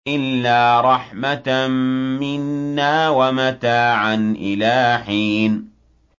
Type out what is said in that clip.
إِلَّا رَحْمَةً مِّنَّا وَمَتَاعًا إِلَىٰ حِينٍ